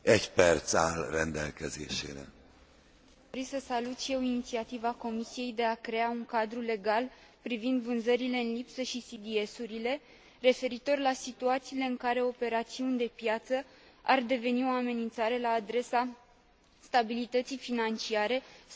Vin să salut și eu inițiativa Comisiei de a crea un cadru legal privind vânzările în lipsă și CDS urile, referitor la situațiile în care operațiuni de piață ar deveni o amenințare la adresa stabilității financiare sau a încrederii pe piețe.